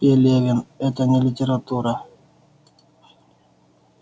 пелевин это не литература